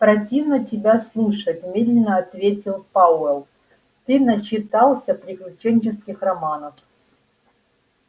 противно тебя слушать медленно ответил пауэлл ты начитался приключенческих романов